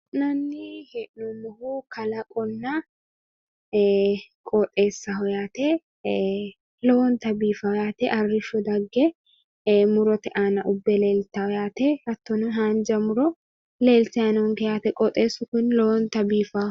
Kuni la'nanni hee'noommohu qoxxeesaho, konni qoxxeesira arrisho aanaho fulitenna lowonta biifano qoxxeesati